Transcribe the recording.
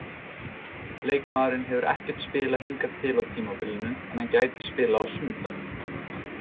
Leikmaðurinn hefur ekkert spilað hingað til á tímabilinu en hann gæti spilað á sunnudag.